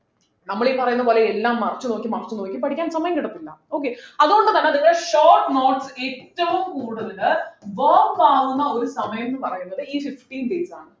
നമ്മൾ ഈ പറയുന്നത് പോലെ എല്ലാം മറച്ചു നോക്കി മറിച്ചു നോക്കി പഠിക്കാൻ സമയം കിട്ടത്തില്ല okay അതുകൊണ്ടുതന്നെ നിങ്ങൾ short notes ഏറ്റവും കൂടുതൽ ആവുന്ന ഒരു സമയം ന്നു പറയുന്ന ഈ fifteen days ആണ്